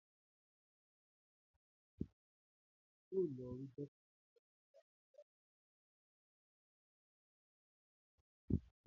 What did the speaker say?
Àwọn ènìyàn yóò lọ rí àwọn dọ́kítá nígbàkigbà tí wọ́n bá ní ìrora ni ibikíbi lẹ́yà ara wọn.